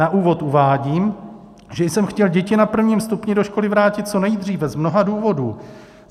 Na úvod uvádím, že jsem chtěl děti na prvním stupni do školy vrátit co nejdřív z mnoha důvodů.